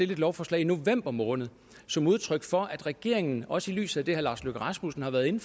lovforslag i november måned som udtryk for at regeringen også i lyset af det herre lars løkke rasmussen har været inde